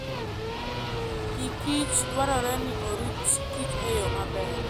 Pikich dwarore ni orit kich e yo maber.